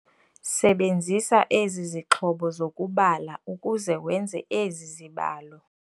Sebenzisa ezi zixhobo zokubala ukuze wenze ezi zibalo.